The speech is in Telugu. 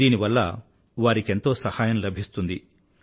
దీనివల్ల వారికెంతో సహాయం లభిస్తుంది